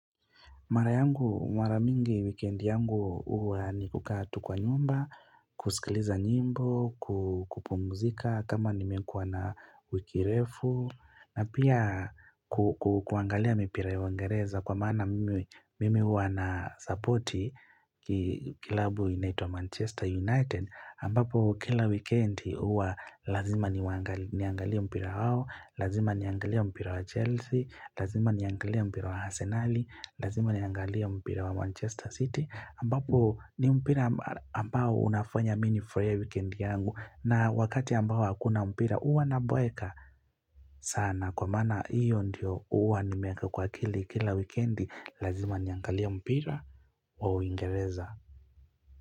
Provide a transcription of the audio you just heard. Mara mingi weekend yangu uwa ni kukaa tu kwa nyumba, kusikiliza nyimbo, kupumzika kama nimekuwa na wiki refu na pia kuangalia mipira ya wangereza kwa mana mimi uwa na supporti kilabu inaitwa Manchester United. Niangalia mpira wao lazima niangalie mpira wa Chelsea lazima niangalie mpira wa Arsenali lazima niangalie manchester city ambapo ni mpira ambao unafanya mi nifurahie weekend yangu na wakati ambao hakuna mpira uwa na boeka sana kwa mana iyo ndio uwa ni meka kwa akili kila weekend lazima niangalia mpira wa uingereza.